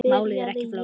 Málið er ekki flókið.